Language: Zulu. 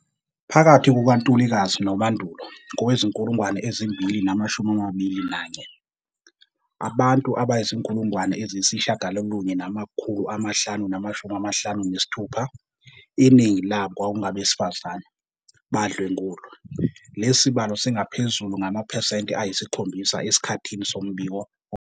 Phakathi kukaNtulikazi noMandulo kowezi-2021, abantu abayizi-9 556, iningi labo kwakungabesifazane, badlwengulwa. Lesi sibalo singaphezulu ngamaphesenti ayi-7 esikhathini sombiko.